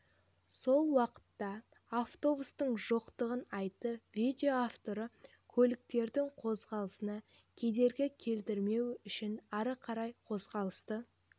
сол уақытта автобустардың жоқтығын айтып видео авторын көліктердің қозғалысына кедергі келтірмеуі үшін ары қарай қозғалысты